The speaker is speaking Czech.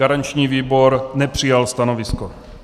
Garanční výbor nepřijal stanovisko.